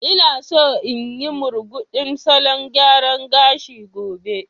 Ina so in yi murguɗin salon gyara gashi gobe.